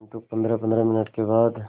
किंतु पंद्रहपंद्रह मिनट के बाद